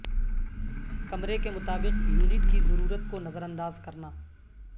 کمرے کے مطابق یونٹ کی ضرورت کو نظرانداز کرنا